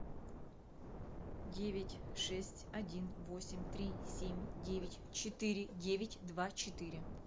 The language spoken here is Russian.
девять шесть один восемь три семь девять четыре девять два четыре